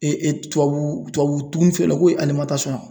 tubabu tubabu dumunifeereyɔrɔ ko ye